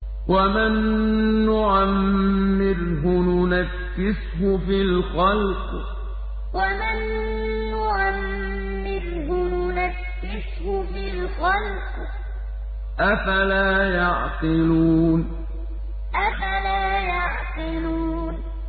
وَمَن نُّعَمِّرْهُ نُنَكِّسْهُ فِي الْخَلْقِ ۖ أَفَلَا يَعْقِلُونَ وَمَن نُّعَمِّرْهُ نُنَكِّسْهُ فِي الْخَلْقِ ۖ أَفَلَا يَعْقِلُونَ